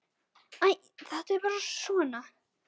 Æ, þetta er bara svona.